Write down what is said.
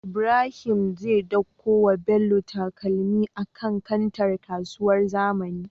Ibrahim zai ɗauko wa bello takalmi a kan kantar kasuwar zamani